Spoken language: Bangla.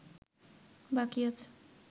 বাকী আছে